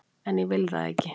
En ég vil það ekki.